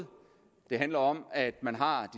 det handler om at man har